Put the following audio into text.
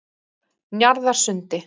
Njarðarsundi